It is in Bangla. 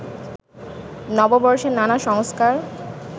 নববর্ষের নানা সংস্কার